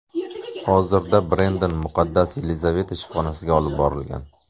Hozirda Brendon Muqaddas Yelizaveta shifoxonasiga olib borilgan.